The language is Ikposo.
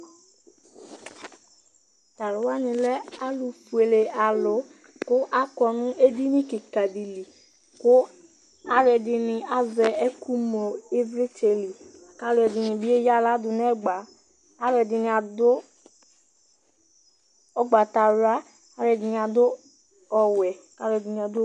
Tʋ alʋ wanɩ lɛ alʋfuele alʋ kʋ akɔ nʋ edini kɩka dɩ li Alʋɛdɩnɩ azɛ ɛkʋŋlo ɩvlɩtsɛ li kʋ alʋɛdɩnɩ bɩ eyǝ aɣla dʋ nʋ ɛgba Alʋɛdɩnɩ adʋ ʋgbatawla, alʋɛdɩnɩ adʋ ɔwɛ kʋ alʋɛdɩnɩ adʋ o